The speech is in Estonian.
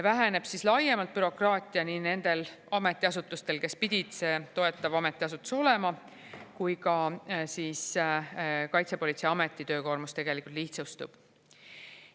Väheneb laiemalt bürokraatia nii nendel ametiasutustel, kes pidid see toetav ametiasutus olema, kui ka Kaitsepolitseiameti töökoormus tegelikult lihtsustub.